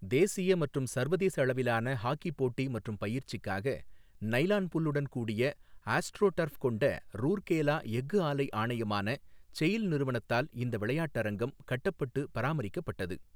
தேசிய மற்றும் சர்வதேச அளவிலான ஹாக்கி போட்டி மற்றும் பயிற்சிக்காக நைலான் புல்லுடன் கூடிய ஆஸ்ட்ரோடர்ஃப் கொண்ட ரூர்கேலா எஃகு ஆலை ஆணையமான செயில் நிறுவனத்தால் இந்த விளையாட்டரங்கம் கட்டப்பட்டு பராமரிக்கப்பட்டது.